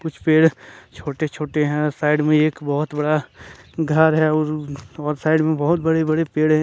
कुछ पेड़ छोटे छोटे हैं और साइड में एक बहुत बड़ा घर है और साइड में बहुत बड़ी बड़ी पेड़ हैं।